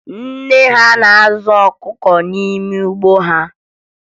Nne ya na-azụ ọkụkọ n'ime ugbo ha